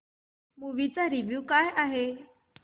movie चा review काय आहे